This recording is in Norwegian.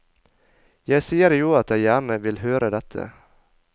Jeg sier jo at jeg gjerne vil høre dette.